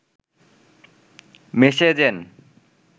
মেসে যেন